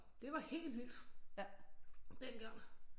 Det var helt vildt dengang